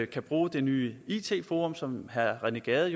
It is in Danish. kan bruge det nye it forum som herre rené gade